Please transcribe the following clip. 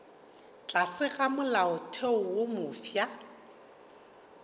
tlase ga molaotheo wo mofsa